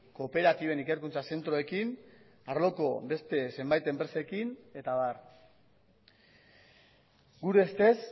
kooperatiben ikerkuntza zentroekin arloko beste zenbait enpresekin eta abar gure ustez